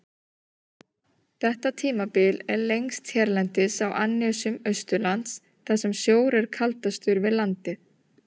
Þetta tímabil er lengst hérlendis á annesjum austanlands, þar sem sjór er kaldastur við landið.